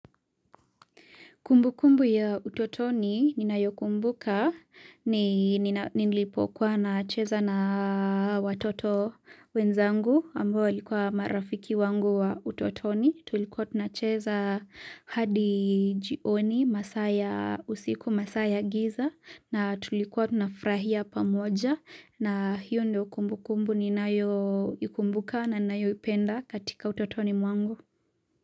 Kumbu kumbu ya utotoni ninayokumbuka ni nilipokuwa nacheza na watoto wenzangu ambao walikuwa marafiki wangu wa utotoni. Tulikuwa tunacheza hadi jioni masaa ya usiku masaa ya giza na tulikuwa tunafurahia pamoja na hiyo ndio kumbu kumbu ninayoikumbuka na ninayoipenda katika utotoni mwangu.